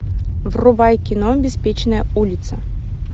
врубай кино беспечная улица